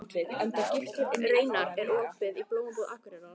Reynar, er opið í Blómabúð Akureyrar?